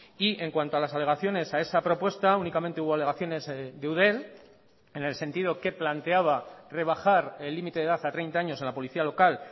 y en cuanto a las alegaciones a esa propuesta únicamente hubo alegaciones de eudel en el sentido que planteaba rebajar el límite de edad a treinta años en la policía local